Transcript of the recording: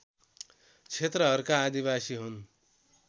क्षेत्रहरूका आदिवासी हुन्